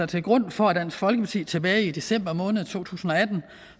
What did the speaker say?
til grund for at dansk folkeparti tilbage i december to tusind og atten